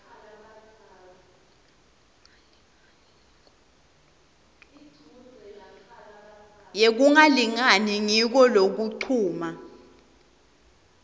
yekungalingani ngiko lokuncuma